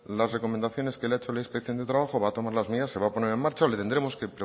las recomendaciones que le ha hecho la inspección de trabajo va a tomar las medidas se va a poner en marcha o le tendremos que